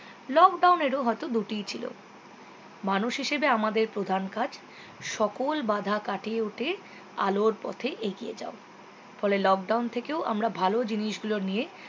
lockdown এর ও হয়তো দুটিই ছিল মানুষ হিসেবে আমাদের প্রধান কাজ সকল বাধা কাটিয়ে উঠে আলোর পথে এগিয়ে যাও ফলে lockdown থেকেও আমরা ভালো জিনিস গুলো নিয়ে